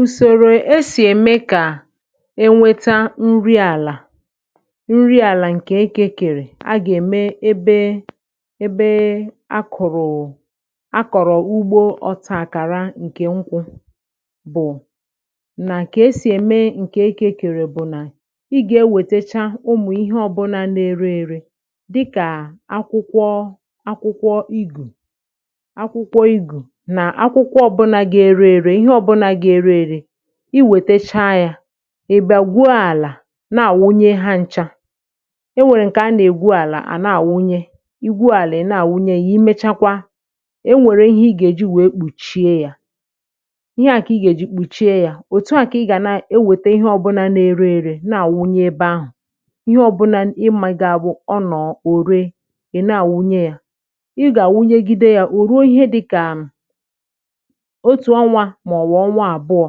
Ùsòrò esì ème kà e nweta nri àlà:Nri àlà ǹkè ekekèrè a gà-ème ebe ebe a kọ̀rọ̀, a kọ̀rọ̀ ugbȯ ọtȧ kàra ǹkè nkwu̇, bụ̀ nà kà e sì ème ǹkè ekekèrè. Bụ̀ nà ị gà-ewètacha ụmụ̀ ihe ọbụ̇là na-ere èrè, dịkà akwụkwọ, akwụkwọ igù, akwụkwọ igù; iwètacha yȧ, ị bịa gwuo àlà, na-àwụnye ha ncha.E nwèrè ǹkè a nà-ègbu àlà, à na-àwụnye; i gwu àlà, ị na-àwụnye yȧ; i mechakwa, e nwèrè ihe ị gà-èji wèe kpùchie yȧ. Ihe à kà ị gà-èji kpùchie yȧ, òtu à kà ị gà na-ewèta ihe ọbụna na-ere èrè, na-àwụnye ebe ahụ̀. Ihe ọbụna ịmȧ, ga-abụ ọ nọ̀ọ̀ òre, ì na-àwụnye yȧ, ì gà-àwụnyegide yȧ, ò ruo ihe dị kà màọ̀bụ̀ ọnwa àbụọ̇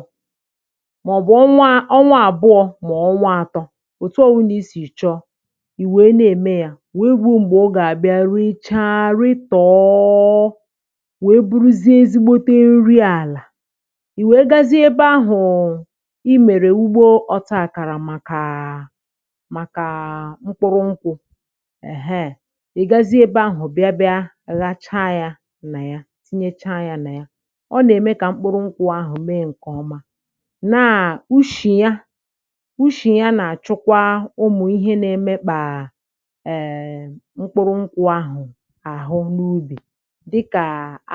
màọ̀bụ̀ ọnwa atọ.(um) Òtù ọ̀wụlà i sì yọ̀chọ, ì wèe na-ème ya, wèe gwuo m̀gbè ọ gà-àbịa richaa, rịtọ̀ọ, wèe buruzie ezìgbòte nri àlà. Ì wèe gazie ebe ahụ̀ ị mèrè, ugbo ọtọ àkàrà, màkà mkpụrụ nkwụ̇ èheè; ì gazi ebe ahụ̀, bịa, bịa gacha ya nà ya, tinyecha ya nà ya, na ushì ya. Ushì ya nà-àchụkwa ụmụ̀ ihe na-emekpà mkpụrụ nkwụ̇ ahụ̀ àhụ n’ubì, dịkà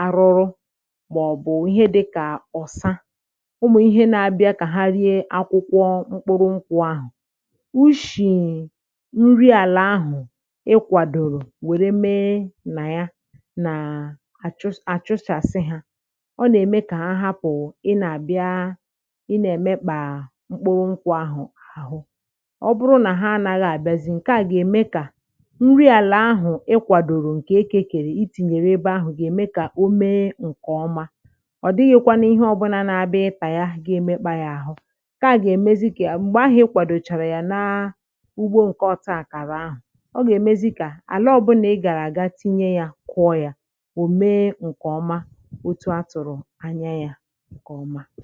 arụrụ, màọ̀bụ̀ ihe dịkà ọ̀sa. Ụmụ̀ ihe na-abịa kà harịa akwụkwọ mkpụrụ nkwụ̇ ahụ̀; ushì nri àlà ahụ̀ ị kwàdòrò, wère mee nà ya, nà àchụsàsị hȧ. Ị nà-àbịa, ị nà-èmekpà mkpụrụ nkwụ̇ ahụ̀ àhụ; ọ bụrụ nà ha anaghị àbịazị, ǹkè à gà-ème kà nri àlà ahụ̀ ị kwàdòrò, ǹkè ekèrè itìnyèrè ebe ahụ̀, gà-ème kà o mee ǹkè ọma.Ọ̀ dịghịkwa n’ihe ọ̀bụlà na-abịa ịpà ya gà-emekpà ya àhụ. Ǹkè à gà-èmezi kà ahụ̀ e kwàdòchàrà ya na ugbȯ ǹkè ọ̀tụ àkàrà ahụ̀; ọ gà-èmezi kà àlà ọbụnà ị gàrà àga tinye ya, kụọ ya, ò mee ǹkè ọma, òtù a tụ̀rụ̀ anya ya ǹkè ọma.